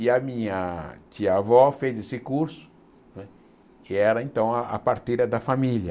E a minha tia-avó fez esse curso, que era então a a parteira da família.